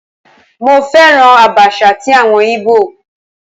Mo féràn Àbàṣà ti àwọn Ìgbò.